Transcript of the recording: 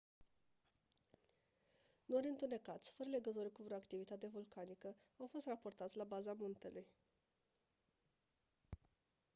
nori întunecați fără legătură cu vreo activitate vulcanică au fost raportați la baza muntelui